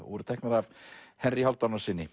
voru teknar af Henry